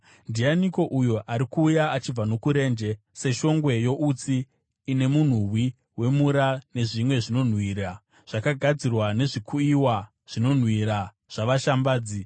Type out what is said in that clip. Ndianiko uyo ari kuuya achibva nokurenje seshongwe youtsi ine munhuwi wemura, nezvimwe zvinonhuhwira zvakagadzirwa nezvikuyiwa zvinonhuhwira zvavashambadzi?